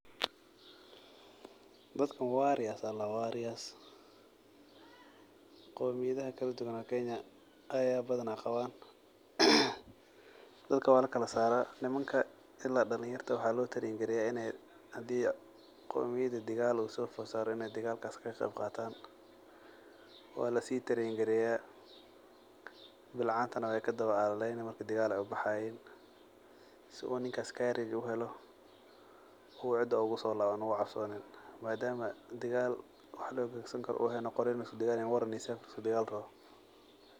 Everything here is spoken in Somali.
Dadkan warriors ayaa ladaha warriors. Qomiyadhaha kaladuwan oo Kenya ayaa badhanaa qabaan, dadka waa lakalasaraa nimanka ila dalinyarta waxalo train gareya in ey hadii qomiyahda digaal u fod saaro in ey digaalkas kaqeb qataan. waa lasii train gareya bilcaantana wey kadawa alaleyni marki digaal ey ubaxayii sidhuu ninkas u courage uhelo u cida ugusolabanin uu cabsoonin madama digaal wax loogagson karo uu ehen qori liskudigaal rabin waran iyo seef liskudigaali rabo.